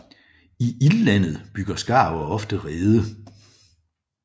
I Ildlandet bygger skarver ofte rede